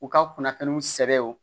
U ka kunnafoniw sɛbɛn o